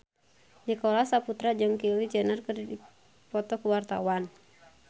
Nicholas Saputra jeung Kylie Jenner keur dipoto ku wartawan